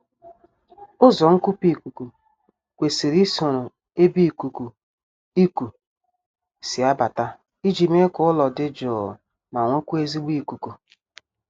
Ụzọ nkupu ikuku kwesiri isoro ebe ikuku iku si abata iji mee ka ụlọ dị jụụ ma nwekwaa ezigbo ikuku